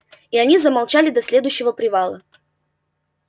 и они замолчали до следующего привала